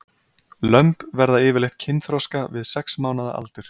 Lömb verður yfirleitt kynþroska við sex mánaða aldur.